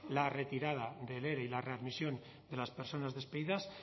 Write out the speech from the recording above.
la retirada del ere y la readmisión de las personas despedidas